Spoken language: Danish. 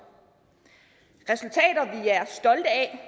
det er